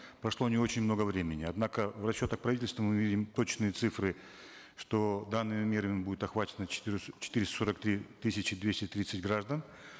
прошло не очень много времени однако в расчетах правительства мы видим точные цифры что данными мерами будут охвачены четыреста сорок три тысячи двести тридцать граждан